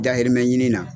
Dahirimɛ ɲini na